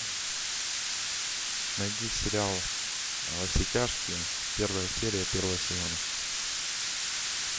найди сериал во все тяжкие первая серия первого сезона